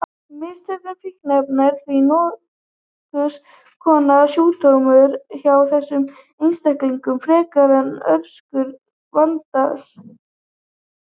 Misnotkun fíkniefna er því nokkurs konar sjúkdómseinkenni hjá þessum einstaklingum frekar en orsök vandans.